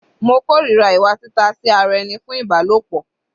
Mo kòrira ìwà tita sí ara ẹni fún Ìbálòpọ̀.